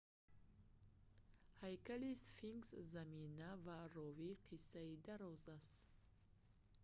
ҳайкали сфинкс замина ва ровии қиссаи дароз аст